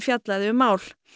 fjallaði um mál